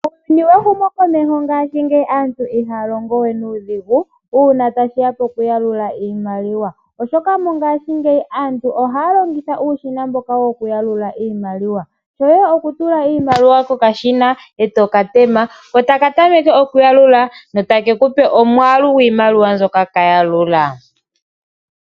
Muuyuni wehumokomeho ngashingeyi aantu ihaa longo we nuudhigu uuna tashi ya pokuyalula iimaliwa, oshoka aantu mongashingeyi ohaa longitha uushina mboka hawu longithwa mokuyalula iimaliwa. Shoye okutula iimaliwa kokashina e to ka tema, ko taka tameke okuyalula notake ku pe omwaalu gwiimaliwa mbyoka ka yalula.